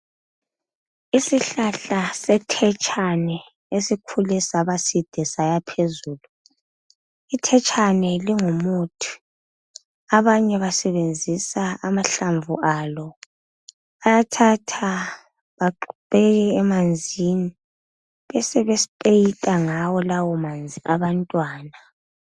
Isihlahla sethetshane esikhule sabaside sayaphezulu. Ithetshane lingumuthi, abanye basebenzisa amahlamvu alo. Bayathatha bagxumeke emanzini besebesipeyida ngawo lawo manzi abantwana.